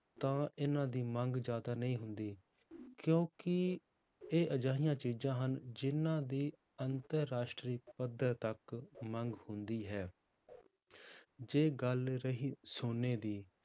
ਤਾਂ ਇਹਨਾਂ ਦੀ ਮੰਗ ਜ਼ਿਆਦਾ ਨਹੀਂ ਹੁੰਦੀ ਕਿਉਂਕਿ ਇਹ ਅਜਿਹੀਆਂ ਚੀਜ਼ਾਂ ਹਨ, ਜਿੰਨਾਂ ਦੀ ਅੰਤਰ ਰਾਸ਼ਟਰੀ ਪੱਧਰ ਤੱਕ ਮੰਗ ਹੁੰਦੀ ਹੈ ਜੇ ਗੱਲ ਰਹੀ ਸੋਨੇ ਦੀ